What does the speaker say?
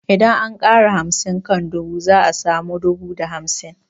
Idan an ƙara hamsin kan dubu za a samu dubu da hamsin